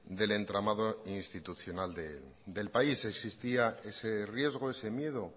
del entramado institucional del país existía ese riesgo ese miedo